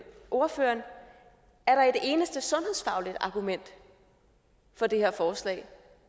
ordføreren er der et eneste sundhedsfagligt argument for det her forslag